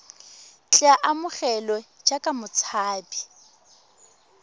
tle a amogelwe jaaka motshabi